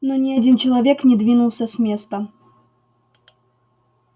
но ни один человек не двинулся с места